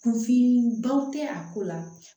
Kunfin baw tɛ a ko la